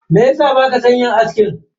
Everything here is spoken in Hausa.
Meyasa baka san yin aski?